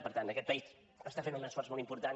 per tant aquest país està fent un esforç molt important